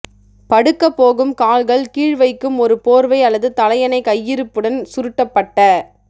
படுக்க போகும் கால்கள் கீழ் வைக்கும் ஒரு போர்வை அல்லது தலையணை கையிருப்புடன் சுருட்டப்பட்ட